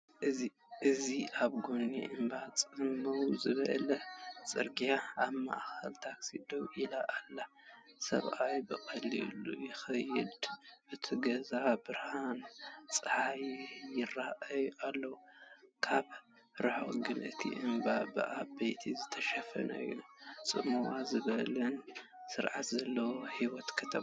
እዚ ኣብ ጎኒ እምባ ጽምው ዝበለ ጽርግያ፡ ኣብ ማእከል ታክሲ ደው ኢላ ኣላ። ሰብኣይ ብቐሊሉ ይኸይድ፣ እቶም ገዛውቲ ብብርሃን ጸሓይ ይራኣዩ ኣለው፡ ካብ ርሑቕ ግን እቲ እምባ ብኣባይቲ ዝተሸፈነ እዩ። ጽምው ዝበለን ስርዓት ዘለዎን ህይወት ከተማ።"